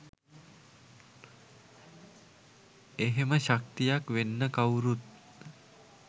එහෙම ශක්තියක් වෙන්න කවුරුත්